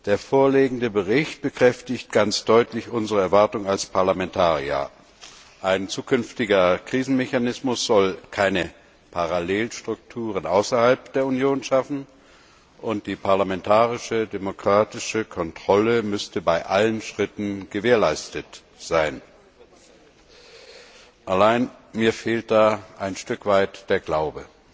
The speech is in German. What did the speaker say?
Der vorliegende Bericht bekräftigt ganz deutlich unsere Erwartung als Parlamentarier Ein zukünftiger Krisenmechanismus soll keine Parallelstrukturen außerhalb der Union schaffen und die parlamentarische demokratische Kontrolle sollte bei allen Schritten gewährleistet sein. Allein, mir fehlt da ein Stück weit der Glaube!